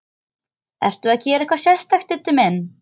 Ertu að gera eitthvað sérstakt, Diddi minn.